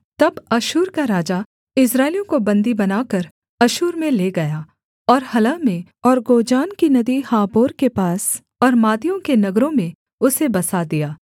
तब अश्शूर का राजा इस्राएलियों को बन्दी बनाकर अश्शूर में ले गया और हलह में और गोजान की नदी हाबोर के पास और मादियों के नगरों में उसे बसा दिया